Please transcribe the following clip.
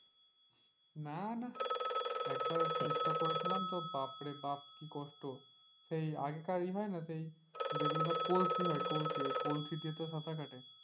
না না একবার চেষ্টা করেছিলাম তো বাপরে বাপ কি কষ্ট সেই আগেকার ইয়ে হয় না সেই যেগুলো কলসি হয় কলসিতে তো সাঁতার কাটে।